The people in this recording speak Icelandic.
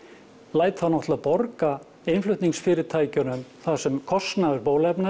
læt þá náttúrulega borga innflutningsfyrirtækjunum það sem kostnaður bóluefna